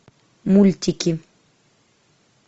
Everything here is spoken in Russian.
мультики